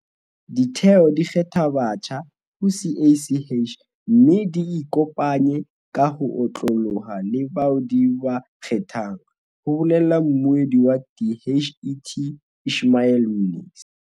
"Ditheo di kgetha batjha ho CACH mme di ikopanye ka ho otloloha le bao di ba kgethang," ho bolela mmuedi wa DHET Ishmael Mnisi.